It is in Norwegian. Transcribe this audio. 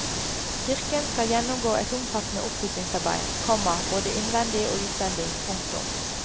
Kirken skal gjennomgå et omfattende oppussingsarbeid, komma både innvendig og utvendig. punktum